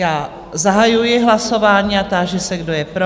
Já zahajuji hlasování a táži se, kdo je pro?